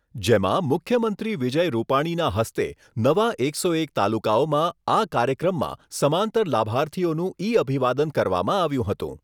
જેમાં મુખ્યમંત્રી વિજય રૂપાણીના હસ્તે નવા એકસો એક તાલુકાઓમાં આ કાર્યક્રમમાં સમાંતર લાભાર્થીઓનું ઈ-અભિવાદન કરવામાં આવ્યું હતું.